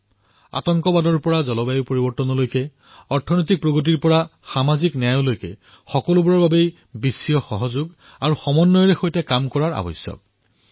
সন্ত্ৰাসবাদৰ পৰা আৰম্ভ কৰি জলবায়ু পৰিৱৰ্তন আৰ্থিক বিকাশৰ পৰা আৰম্ভ কৰি সামাজিক ন্যায় এই সকলোবোৰকে ধৰি বিশ্বজনীন সহযোগিতা আৰু সমন্বয়ৰ সৈতে কাম কৰাৰ প্ৰয়োজনীয়তা আহি পৰিছে